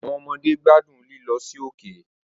Awọn ọmọde gbadun lilọ si oke